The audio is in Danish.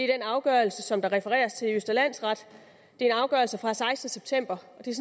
den afgørelse som der refereres til i østre landsret det er en afgørelse fra den sekstende september og det er